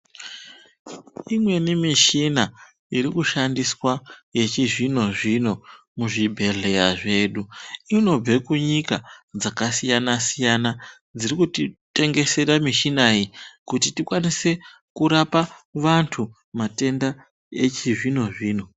Imweni mishina iri kushandiswa yechizvino-zvino muzvibhedhleya zvedu, inobve kunyika dzakasiya -siyana, dziri kuti tengesera mishina iyi kuti tikwanise kurapa vantu matenda echizvino- zvino.